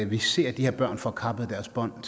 vi ser de her børn få kappet deres bånd